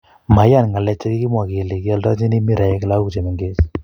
maiyan ng'lek chekikimwa kele kioldochini miraek lakok chemengech